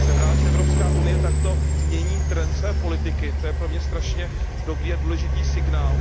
Jsem rád, že Evropská unie takto mění trend své politiky, to je pro mě velmi dobrý a důležitý signál.